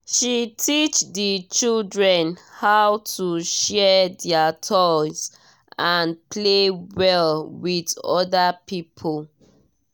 she teach the children how to share their toys and play well with other people.